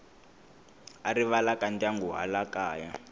a rivalaka ndyangu hala kaya